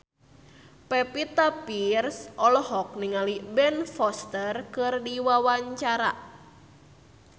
Pevita Pearce olohok ningali Ben Foster keur diwawancara